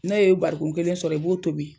N'o ye barikɔn kelen sɔrɔ i b'o tobi